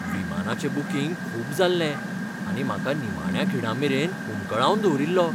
विमानाचें booking खूब जाल्लें आनी म्हाका निमाण्या खिणामेरेन हुमकळावन दवरिल्लो .